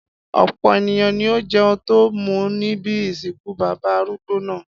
Ọ̀pọ̀ ènìyàn ni ó jẹun tó mú níbi ìsìnkú bàbá arúgbó náà.